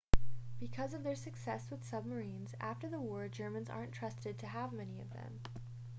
because of their success with submarines after the war germans aren't trusted to have many of them